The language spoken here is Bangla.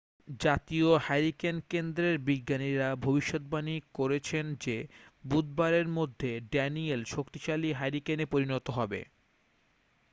জাতীয় হ্যারিকেন কেন্দ্রের বিজ্ঞানীরা ভবিষ্যদ্বাণী করছেন যে বুধবারের মধ্যে ড্যানিয়েল শক্তিশালী হ্যারিকেনে পরিণত হবে